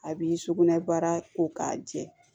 A b'i sugunɛbara ko k'a jɛ